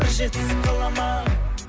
бір жетісіп қаламын ау